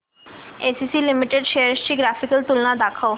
ACC limited shares ची graphical तुलना दाखव